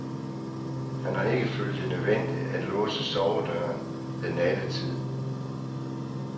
Han har ikke følt det nødvendigt at låse sovedøren ved nattetid.